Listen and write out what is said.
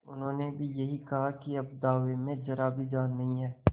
उन्होंने भी यही कहा कि अब दावे में जरा भी जान नहीं है